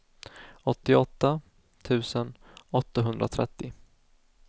åttioåtta tusen åttahundratrettio